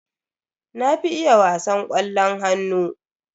Na fi iya wasan ƙwallon hannu.